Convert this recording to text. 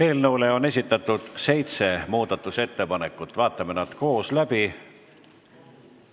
Eelnõu kohta on tehtud seitse muudatusettepanekut, vaatame nad koos läbi.